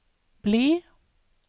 bli